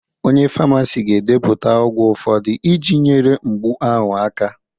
Onye famasi ga-edepụta ọgwụ ụfọdụ iji nyere mgbu ahụ aka